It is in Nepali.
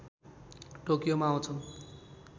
टोकियोमा आउँछन्